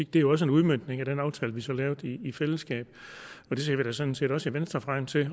det jo også en udmøntning i den aftale vi så lavede i fællesskab og det ser vi da sådan set også i venstre frem til